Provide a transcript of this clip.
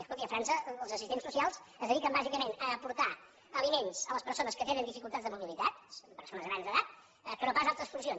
escolti a frança els assistents socials es dediquen bàsicament a portar aliments a les persones que tenen dificultats de mobilitat persones grans d’edat que no pas a altres funcions